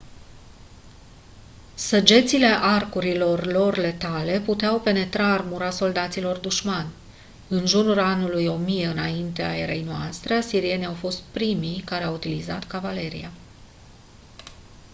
săgețile arcurilor lor letale puteau penetra armura soldaților dușmani în jurul anului 1000 î.e.n. asirienii au fost primii care au utilizat cavaleria